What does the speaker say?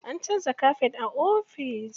An canza kafet a ofis.